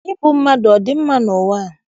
Ịbụ mmadụ adị mma n'ụwa a?